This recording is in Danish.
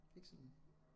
Ikke sådan